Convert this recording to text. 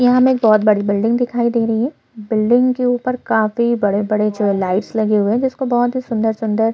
यह एक रोड की तस्वीर है जिसमे दो कार जा रही है जिसमे से एक कार येलो कलर की है और एक कार वाइट कलर की है और--